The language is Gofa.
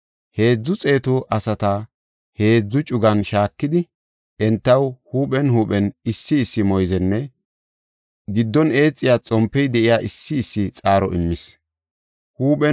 Heedzu xeetu asata heedzu cugan shaakidi entaw huuphen huuphen issi issi moyzenne giddon eexiya xompey de7iya issi issi xaaro immis.